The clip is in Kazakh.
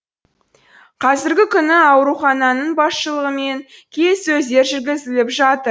қазіргі күні аурухананың басшылығымен келіссөздер жүргізіліп жатыр